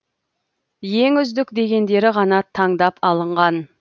ең үздік дегендері ғана таңдап алынған